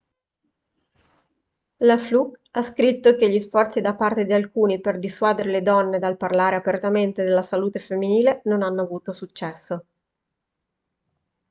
la fluke ha scritto che gli sforzi da parte di alcuni per dissuadere le donne dal parlare apertamente della salute femminile non hanno avuto successo